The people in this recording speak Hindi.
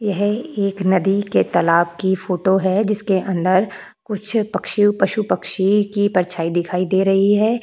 यह एक नदी के तालाब की फोटो है जिसके अंदर कुछ पक्षी पशु पक्षी की परछाई दिखाई दे रही है।